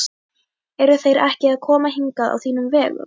Eru þeir ekki að koma hingað á þínum vegum?